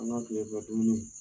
An ka kile fɛ dumuni